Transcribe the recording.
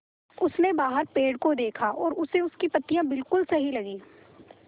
उसने बाहर पेड़ को देखा और उसे उसकी पत्तियाँ बिलकुल सही लगीं